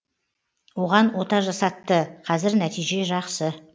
оған ота жасатты қазір нәтиже жақсы